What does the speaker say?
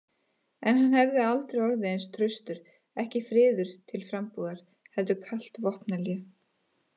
En hann hefði aldrei orðið eins traustur, ekki friður til frambúðar heldur kalt vopnahlé.